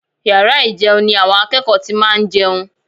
Yàrá ìjẹun ni àwọn akẹ́kọ̀ọ́ ti máa ń jẹun